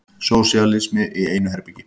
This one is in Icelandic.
Sósíalismi í einu herbergi.